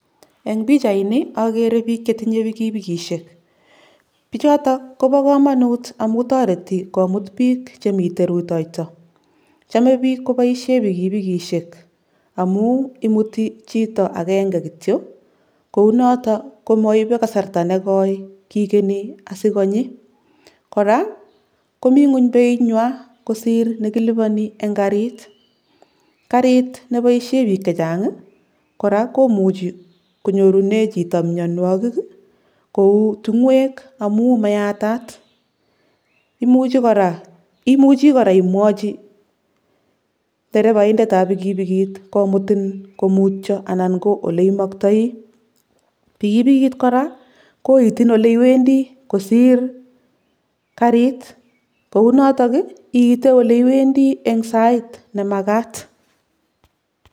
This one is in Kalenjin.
En pichaini okere bik chetinye pikipikishek bichoto kobo komonut amun toreti komut bik chemiten rutoito chome bik koboisien pikipikishek amun imuti chito agenge kitio kounoto komokonye kasarta negoi kigeni sikonyi, koraa komi ngweny beinywan kosir nekiliboni en karit, karit neboisien bik chechang koraa komuchi konyorune chito minuokik ii kou tingoek amun mayatat, imuche koraa imwochi derebaindetab pikipikit komutin komutio anan ko oleimoktoi, pikipikit koraa koitin oleiwendi kosir karit kounotok ii iiten oleiwendi en sait nemakat.